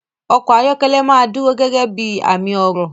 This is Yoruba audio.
Ọkọ̀ ayọ́kẹ́lẹ́ máa dúró gẹ́gẹ́ bí i àmì ọrọ̀.